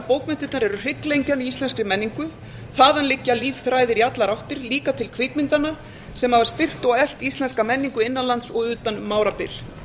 bókmenntirnar eru hrygglengjan í íslenskri menningu þaðan liggja lífþræðir í allar áttir líka til kvikmyndanna sem hafa styrkt og eflt íslenska menningu innan lands og utan um árabil